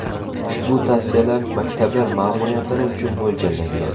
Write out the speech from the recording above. Ushbu tavsiyalar maktablar ma’muriyatlari uchun mo‘ljallangan.